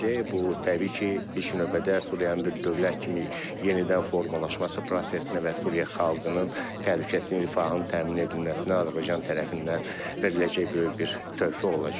Bu təbii ki, ilk növbədə Suriyanın bir dövlət kimi yenidən formalaşması prosesinə və Suriya xalqının təhlükəsizliyinin, rifahının təmin edilməsinə Azərbaycan tərəfindən veriləcək böyük bir töhfə olacaq.